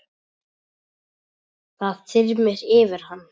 Það þyrmir yfir hann.